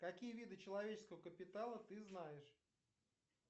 какие виды человеческого капитала ты знаешь